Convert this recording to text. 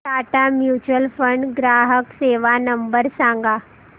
Tata mutual fund ग्राहक सेवा number सांगा